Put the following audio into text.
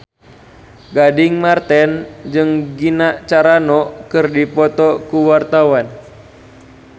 Gading Marten jeung Gina Carano keur dipoto ku wartawan